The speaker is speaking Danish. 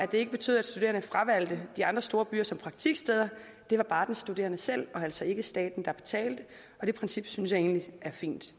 det ikke betød at studerende fravalgte de andre storbyer som praktiksteder det var bare den studerende selv og altså ikke staten der betalte og det princip synes jeg egentlig er fint